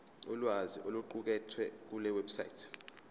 ulwazi oluqukethwe kulewebsite